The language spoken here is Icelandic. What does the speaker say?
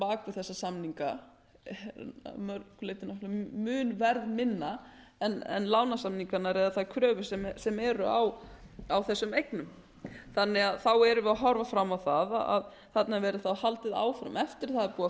þessa samninga að mörgu leyti mun verðminna en lánasamningarnir eða þær kröfur sem eru á þessum eignum þannig að þá erum við að horfa fram á það að þarna verði haldið áfram eftir að búið